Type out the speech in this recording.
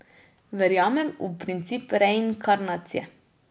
Verjamem v princip reinkarnacije.